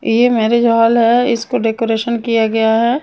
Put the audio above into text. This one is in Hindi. ये मेरिज हॉल है इसको डेकोरेशन किया गया है।